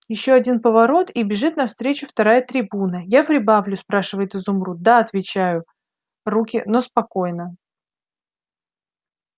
ещё один поворот и бежит навстречу вторая трибуна я прибавлю спрашивает изумруд да отвечают руки но спокойно